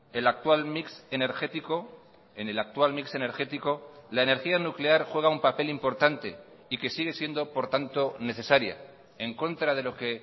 el actual mix energético en el actual mix energético la energía nuclear juega un papel importante y que sigue siendo por tanto necesaria en contra de lo que